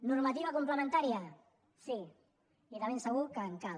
normativa complementària sí i de ben segur que en cal